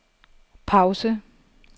pause